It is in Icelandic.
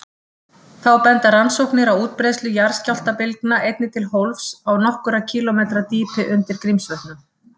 Þá benda rannsóknir á útbreiðslu jarðskjálftabylgna einnig til hólfs á nokkurra kílómetra dýpi undir Grímsvötnum.